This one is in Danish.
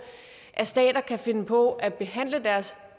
at stater kan finde på at behandle deres